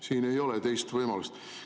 Siin ei ole teist võimalust.